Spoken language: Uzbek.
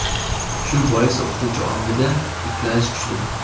Shu bois o‘qituvchi ongida ikkilanish kuchli.